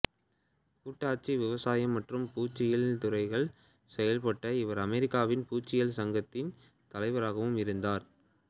கூட்டாட்சி விவசாயம் மற்றும் பூச்சியியல் துறைகளில் செயல்பட்ட இவர் அமெரிக்காவின் பூச்சியியல் சங்கத்தின் தலைவராகவும் இருந்தார்